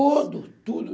Tudo, tudo.